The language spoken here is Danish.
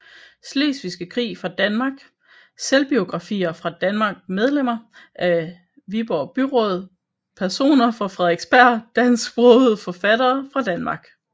Slesvigske Krig fra Danmark Selvbiografer fra Danmark Medlemmer af Viborg Byråd Personer fra Frederiksberg Dansksprogede forfattere fra Danmark